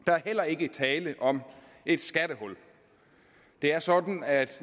der er heller ikke tale om et skattehul det er sådan at